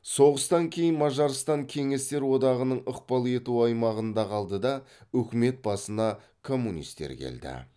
соғыстан кейін мажарстан кеңестер одағының ықпал ету аймағында қалды да үкімет басына коммунистер келді